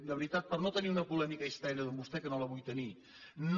de veritat per no tenir una polèmica estèril amb vostè que no la vull tenir no